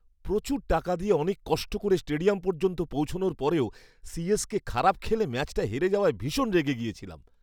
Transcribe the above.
প্রচুর টাকা দিয়ে অনেক কষ্ট করে স্টেডিয়াম পর্যন্ত পৌঁছনোর পরেও সিএসকে খারাপ খেলে ম্যাচটা হেরে যাওয়ায় ভীষণ রেগে গেছিলাম।